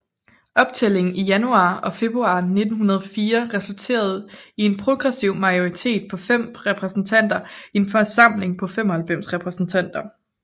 Optællingen i januar og februar 1904 resulterede i en progressiv majoritet på fem repræsentanter i en forsamling på 95 repræsentanter